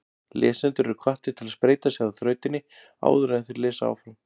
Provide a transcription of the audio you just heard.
Lesendur eru hvattir til að spreyta sig á þrautinni áður en þeir lesa áfram.